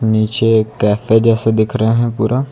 नीचे एक कैफे जैसे दिख रहे हैं पूरा।